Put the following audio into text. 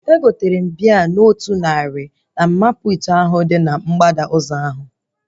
Egotere m bịa na ọnụ otu narị na mama puutu ahụ dị na mgbada ụzọ ahụ